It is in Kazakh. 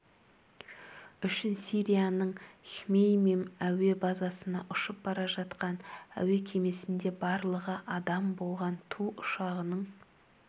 үшін сирияның хмеймим әуе базасына ұшып бара жатқан әуе кемесінде барлығы адам болған ту ұшағының